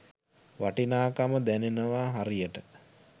වටිනාකම දැනෙනව හරියට.